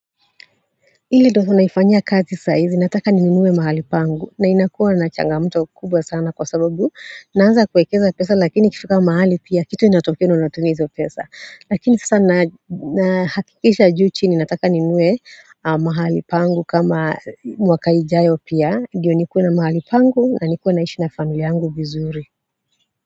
Ile doo unaifanyia kazi saizi nataka ninunue mahali pangu na inakuwa na changamoto kubwa sana kwa sababu naanza kuekeza pesa lakini ikifika mahali pia kitu inatokea na unatumia hizo pesa lakini sasa na hakikisha juu chini nataka ninunue mahali pangu kama mwaka ijayo pia ndiyo nikue na mahali pangu na nikue naishi na familia yangu vizuri.